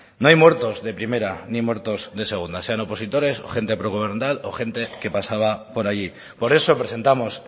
no hay muertos de primera ni muertos de segunda sean opositores o gente progubernamental o gente que pasaba por allí por eso presentamos